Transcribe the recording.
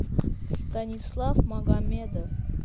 станислав магомедов